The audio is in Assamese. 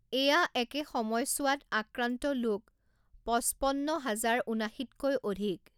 এয়া একে সময়ঠোৱাত আক্ৰান্ত লোক পঁচপন্ন হাজাৰ ঊনাশীতকৈ অধিক।